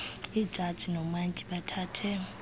iijaji noomantyi bathathe